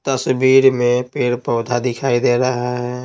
तस्वीर में पेड़ -पौधा दिखाई दे रहा है।